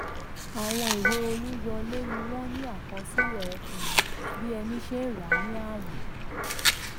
àwọn ìwée olùyọwó ni wọ́n ní akọsílẹ̀ um bí ẹni ṣe rà ní àwìn.